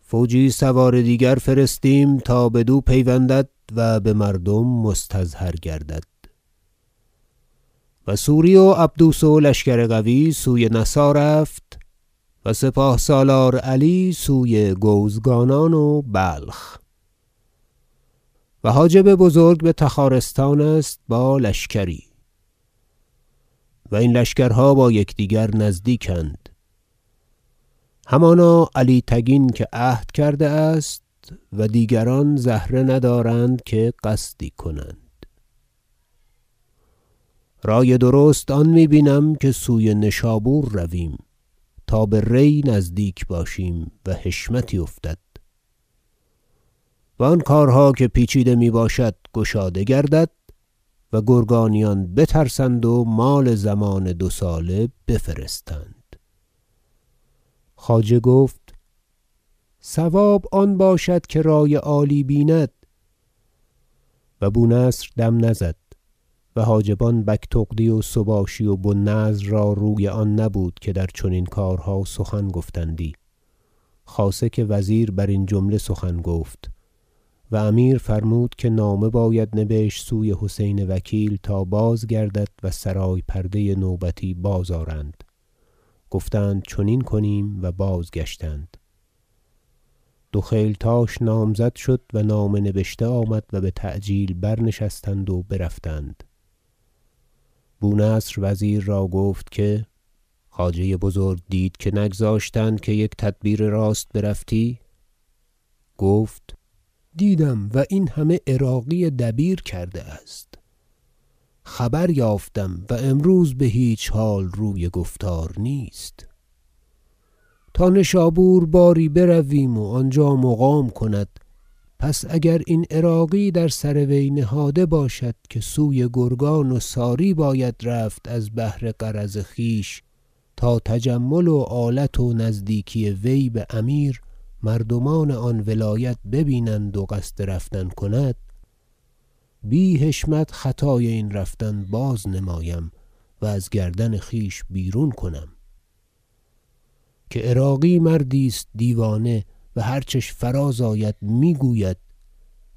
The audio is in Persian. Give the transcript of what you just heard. فوجی سوار دیگر فرستیم تا بدو پیوندد و بمردم مستظهر گردد و سوری و عبدوس و لشکر قوی سوی نسا رفت و سپاه سالار علی سوی گوزگانان و بلخ و حاجب بزرگ بتخارستان است با لشکری و این لشکرها با یکدیگر نزدیکند همانا علی تگین که عهد کرده است و دیگران زهره ندارند که قصدی کنند رای درست آن می بینم که سوی نشابور رویم تا به ری نزدیک باشیم و حشمتی افتد و آن کارها که پیچیده میباشد گشاده گردد و گرگانیان بترسند و مال ضمان دو ساله بفرستند خواجه گفت صواب آن باشد که رای عالی بیند و بونصر دم نزد و حاجبان بگتغدی و سباشی و بوالنضر را روی آن نبود که در چنین کارها سخن گفتندی خاصه که وزیر برین جمله سخن گفت و امیر فرمود که نامه باید نبشت سوی حسین وکیل تا باز گردد و سرای پرده نوبتی بازآرند گفتند چنین کنیم و بازگشتند دو خیلتاش نامزد شد و نامه نبشته آمد و بتعجیل برنشستند و برفتند بونصر وزیر را گفت که خواجه بزرگ دید که نگذاشتند که یک تدبیر راست برفتی گفت دیدم و این همه عراقی دبیر کرده است خبر یافتم و امروز بهیچ حال روی گفتار نیست تا نشابور باری برویم و آنجا مقام کند پس اگر این عراقی در سروی نهاده باشد که سوی گرگان و ساری باید رفت از بهر غرض خویش تا تجمل و آلت و نزدیکی وی بامیر مردمان آن ولایت ببینند و قصد رفتن کند بی حشمت خطای این رفتن بازنمایم و از گردن خویش بیرون کنم که عراقی مردی است دیوانه و هرچش فراز آید میگوید